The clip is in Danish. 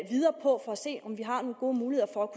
se om vi har nogle gode muligheder for